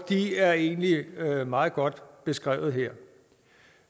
de er egentlig meget godt beskrevet her